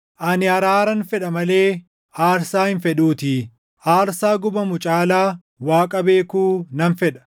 Ani araaran fedha malee aarsaa hin fedhuutii; aarsaa gubamu caalaa Waaqa beekuu nan fedha.